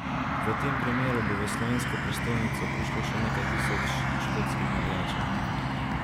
V tem primeru bo v slovensko prestolnico prišlo še nekaj tisoč škotskih navijačev.